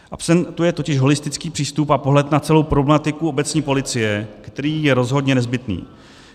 Absentuje totiž holistický přístup a pohled na celou problematiku obecní policie, který je rozhodně nezbytný.